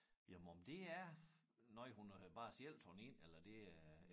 Jamen om det er noget hun har bare selv taget ind eller det er